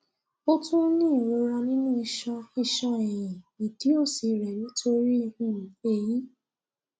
ó tún ń ní ìrora nínú iṣan iṣan ẹyìn ìdí òsì rẹ nítorí um èyí